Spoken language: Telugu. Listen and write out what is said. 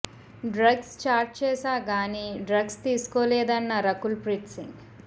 డ్రగ్స్ చాట్ చేశా కానీ డ్రగ్స్ తీసుకోలేదన్న రకుల్ ప్రీత్ సింగ్